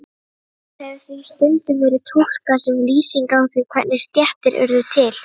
Kvæðið hefur því stundum verið túlkað sem lýsing á því hvernig stéttir urðu til.